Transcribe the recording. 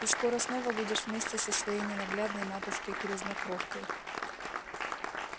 ты скоро снова будешь вместе со своей ненаглядной матушкой-грязнокровкой